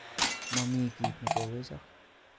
Momi kitnekowechok